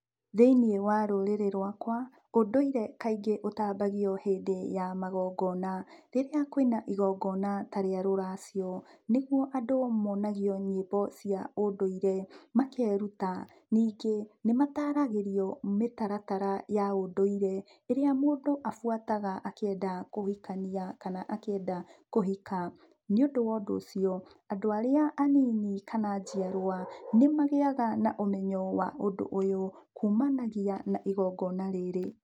Thĩiniĩ wa rũrĩrĩ rwakwa, ũndũire kaingĩ ũtambagio hĩndĩ ya magongona. Rĩrĩa kwĩna igongona ta rĩa rũracio, nĩgũo andũ monagio nyĩmbo cia ũndũire makeruta. Ningĩ, nĩ mataragĩrio mĩtaratara ya ũndũire. ĩrĩa mũndũ abuataga akĩenda kũhikania kana akĩenda kũhika. Nĩ ũndũ wo ũndũ ũcio, andũ arĩa anini kana njiarwa nĩ magĩaga na ũmenyo wa ũndũ ũyũ kũmanagia na igongona rĩrĩ.